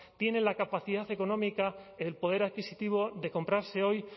tiene la capacidad económica el poder adquisitivo de comprarse hoy